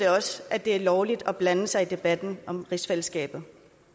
også at det er lovligt at blande sig i debatten om rigsfællesskabet